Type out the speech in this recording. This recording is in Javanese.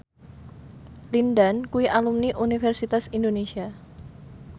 Lin Dan kuwi alumni Universitas Indonesia